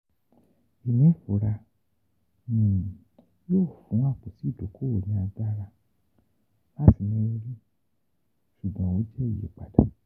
Inifura um yoo fun apoti idokowo ni agbara lati ni riri ṣugbọn o jẹ iyipada.